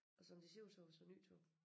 Og som det ser ud så også æ nye tog